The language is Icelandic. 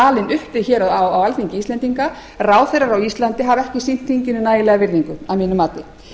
alin upp við hér á alþingi íslendinga ráðherrar á íslandi hafa ekki sýnt þinginu nægilega virðingu að mínu mati